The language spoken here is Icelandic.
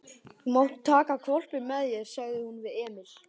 Þú mátt taka hvolpinn með þér, sagði hún við Emil.